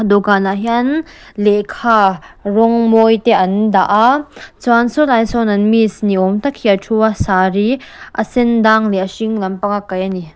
dawhkanah hian lehkha rawng mawi te an dah a chuan saw lai sawn an miss ni awm tak hi a thu a sari a sendang leh a hring lampang a kaih a ni.